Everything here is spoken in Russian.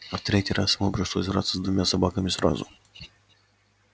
а в третий раз ему пришлось драться с двумя собаками сразу